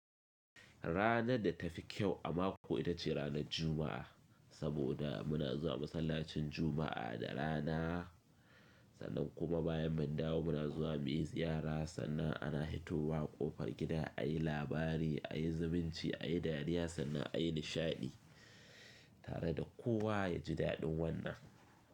Ranar da ta fi kyau a mako ita ce ranar Juma’a, saboda muna zuwa masallacin Juma’a da rana, sannan kuma bayan mun dawo muna zuwa muye ziyara sannan ana hito wa ƙofar gida ayi labari, ayi zumunci, ayi dariya sannan ayi nishaɗi tare da kowa ya ji daɗin wannan.